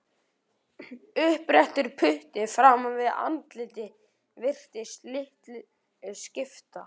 Uppréttur putti framan við andlitið virtist litlu skipta.